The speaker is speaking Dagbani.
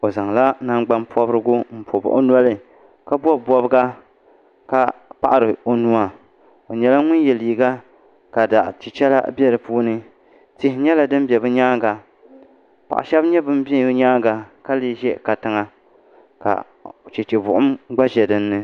O zaŋla naangbani pobirigu n pobi o noli ka bobi bobga ka paɣiri o nua o nyɛla ŋun yɛ liiga ka zaɣ chichɛla biɛ di puuni tihi nyɛla bin ʒɛ bi nyaanga paɣ shaba nyɛ ban ʒɛ bi nyaanga ka lee ʒɛ kantiŋa ka chɛchɛ buɣum gba ʒɛ dinni